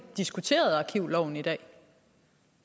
diskuterede arkivloven i dag